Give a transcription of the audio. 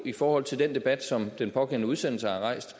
i forhold til den debat som den pågældende udsendelse har rejst